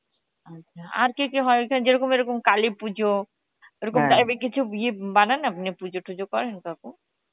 আচ্ছা, আর কেকে যেরকম এরকম কালী পুজো এর কিছু ইয়ে বানান আপনি পুজো তুজ করেন কাকু?